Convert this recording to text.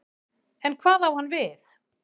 En hvað á hann við?